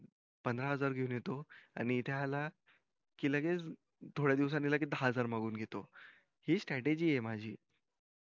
पंधरा हजार घेऊन येतो कि इथे आला कि लगेच थोड्या दिवसानी दहा हजार मागून घेतो हि strategy ये माझी